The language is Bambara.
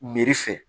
Meri fɛ